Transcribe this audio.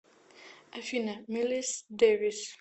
афина милес дэвис